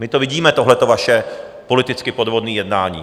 My to vidíme, tohleto vaše politicky podvodné jednání.